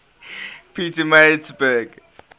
pietermaritzburg